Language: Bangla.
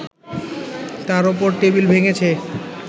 তার ওপর টেবিল ভেঙেছে